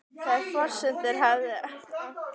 Þær forsendur hafi ekkert breyst